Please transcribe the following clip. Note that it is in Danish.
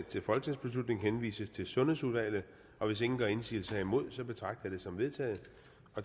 til folketingsbeslutning henvises til sundhedsudvalget og hvis ingen gør indsigelse herimod betragter jeg det som vedtaget